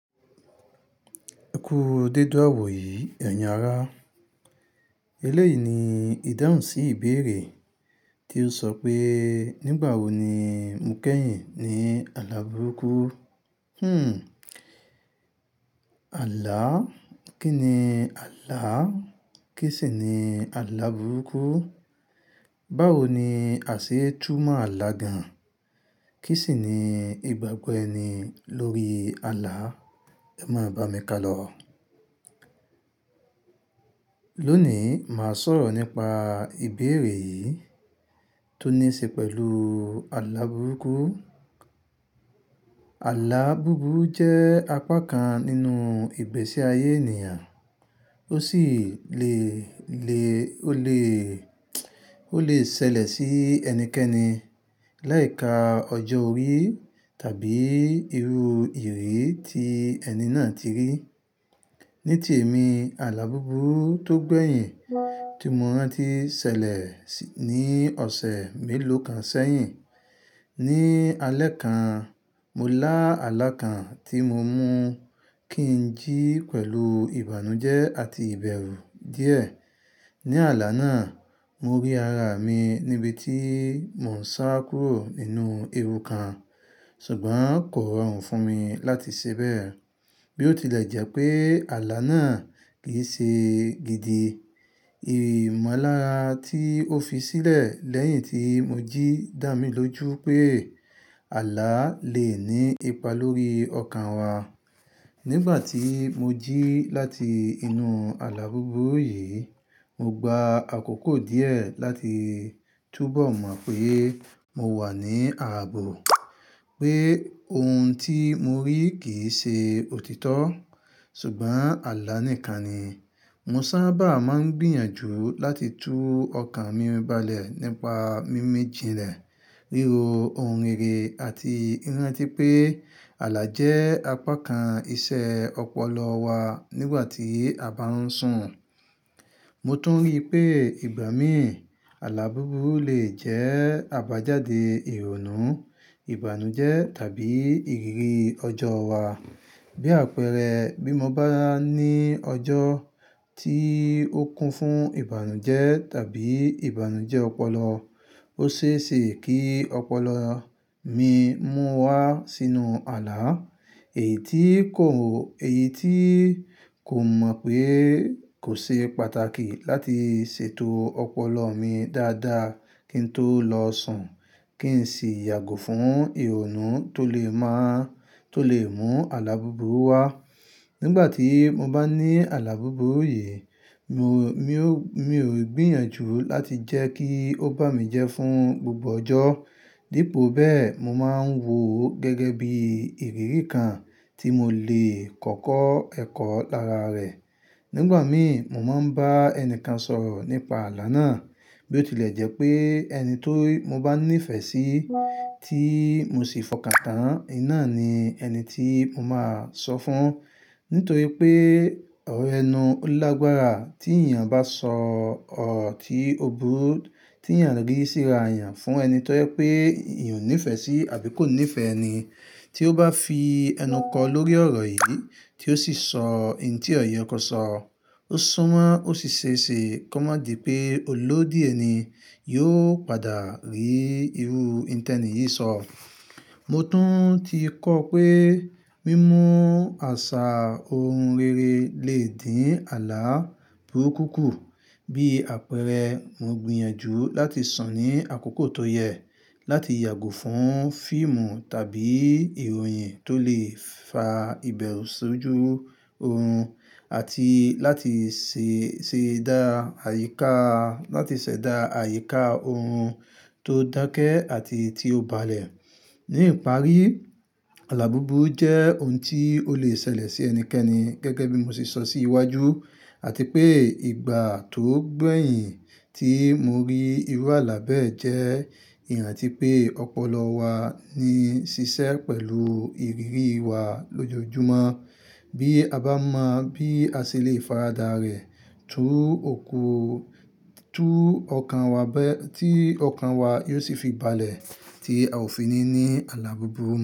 Ẹ kú dede iwọ̀ yìí, ẹ̀yin ará. Eléyìí ni ìdáhùn sí ìbéèrè tí o sọ pé nígbà wo ni mo kẹ́yìn ní àlá burúkú. Hmmm. Àlá? Kí ni àlá? Kí sì ni àlá burúkú? Báwo ni àṣẹ túmọ̀ àlá gan-an? Kí sì ni ìgbàgbọ́ ẹni lórí àlá? Ẹ máa bá mi ká lọ. Lónìí, màá sọ̀rọ̀ nípa ìbéèrè yìí tó ní í ṣe pẹ̀lú àlá burúkú. Àlá búburú jẹ́ apá kan nínú ìgbésí ayé ènìyàn, ó sì lè lè ó lè, ó lè ṣẹlẹ̀ sí ẹnikẹ́ni láì ka ọjọ́ orí tàbí irú ìrírí tí ẹni náà ti rí. Ní ti èmi, àlá búburú tó gbẹ̀yìn tí mo rántí ṣẹlẹ̀ ní ọ̀sẹ̀ mélòó kan sẹ́yìn. Ní alẹ́ kan, mo lá àlá kan tí mo mú kí n jí pẹ̀lú ìbànújẹ́ àti ìbẹ̀rù díẹ̀. Ní àlá náà, mo rí ara mi níbi tí mò ń sá kúrò nínú ewu kan, ṣùgbọ́n kò rọrùn fún mi láti ṣe bẹ́ẹ̀. Bí ó tilẹ̀ jẹ́ pé àlá náà kì í ṣe gidi, ìmọ̀lára tí ó fi sílẹ̀ lẹ́yìn tí mo jí dá mi lójú pé àlá lè ní ipa lórí ọkàn wa. Nígbà tí mo jí láti inú àlá búburú yìí, mo gba àkókò díẹ̀ láti túbọ̀ mọ̀ pé mo wà ní ààbò, pé ohun tí mo rí kì í ṣe òtítọ́ ṣùgbọ́n àlá nìkan ni. Mo sábà máa ń gbìyànjú láti tú ọkàn mi balẹ̀ nípa mímẹ́ jìnlẹ̀, ríro ohun rere àti rántí pé àlá jẹ́ apá kan iṣẹ́ ọpọlọ wa nígbà tí a bá ń sùn. Mo tún rí pé ìgbà mí àlá búburú lè jẹ́ àbájáde ìrònú, ìbànújẹ́ tàbí ìrírí ọjọ́ wa. Bí àpẹẹrẹ, bí mo bá ní ọjọ́ tí ó kún fún ìbànújẹ́ tàbí ìbànújẹ́ ọpọlọ, ó ṣe é ṣe kí ọpọlọ mi mú wá sínú àlá, èyí tí kò mọ̀ pé kò ṣe pàtàkì láti ṣètò ọpọlọ mi dáadáa kí n tó lọ sùn kí n sì yàgò fún ìrònú tó lè má tó lè mú àlá búburú wá. Nígbà tí mo bá ní àlá búburú yìí, mi ò, mi ò, mi ò gbìyànjú láti jẹ́ kí ó bá mi jẹ́ fún gbogbo ọjọ́. Dípò bẹ́ẹ̀, mo máa ń wò ó gẹ́gẹ́ bí ìrírí kan tí mo lè kọ́kọ́ ẹ̀kọ́ lára rẹ̀. Nígbà mí, mo máa ń bá ẹni kan sọ̀rọ̀ nípa àlá náà. Bí ó tilẹ̀ jẹ́ pé ẹni tó mo bá ní ìfẹ́ sí tí mo sì fọkàn tán, ẹ náà ni ẹni tí mo máa sọ fún. Nítorí pé ọ̀rọ̀ ẹnu olagbàrà tí èèyàn bá sọ ọ̀rọ̀ tí ó burú, tí èèyàn rí síra yàn fún ẹni tó jẹ pé èèyàn ò ní ìfẹ́ sí àbí kò ní ìfẹ́ ẹni. Tí ó bá fi ẹnu kọ lórí ọ̀rọ̀ yìí tí ó sì sọ nǹkan tí ọ̀yẹ́ kò sọ, ó súnmọ́ ó sì ṣe é ṣe kọ́ má di pé olódì ẹ ni yóò padà rí irú nǹteni yìí sọ. Mo tún ti kọ́ pé mímú àṣà ohun rere lè dín àlá burúkù kù. Bí àpẹẹrẹ, mo gbìyànjú láti sùn ní àkókò tó yẹ, láti yàgò fún fíìmù tàbí ìròyìn tó lè fa ìbẹ̀rù sójú ohun àti láti ṣè dá àyíká, láti ṣẹ̀dá àyíká ohun tó dákẹ́ àti tí ó balẹ̀. Ní ìparí, àlá búburú jẹ́ ohun tí ó lè ṣẹlẹ̀ sí ẹnikẹ́ni gẹ́gẹ́ bí mo ṣe sọ sí iwájú àti pé ìgbà tó gbẹ̀yìn tí mo rí irú àlá bẹ́ẹ̀ jẹ́ ìrántí pé ọpọlọ wa ní ṣiṣẹ́ pẹ̀lú ìrírí wa lójoojúmọ́. Bí a bá mọ̀ bí a ṣe lè faradà rẹ̀ tú òkú, tú ọkàn wa bẹ́, tí ọkàn wa yóò sì fi balẹ̀ tí a ò fi ní ní àlá búburú.